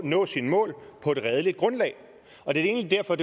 nå sine mål på et redeligt grundlag og det er egentlig derfor